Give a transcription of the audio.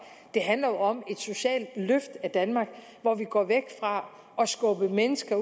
det handler jo om et socialt løft af danmark hvor vi går væk fra at skubbe mennesker